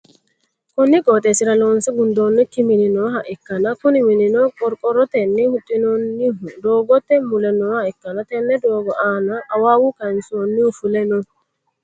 konni qooxeessira loonse gundoonnikki mini nooha ikkanna, kuni minino qorqorotenni huxxinoonnihu doogote mule nooha ikkanna, tenne doogo aanano awawa kayiinsoonnihu fule no.